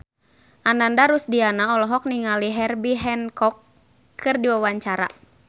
Ananda Rusdiana olohok ningali Herbie Hancock keur diwawancara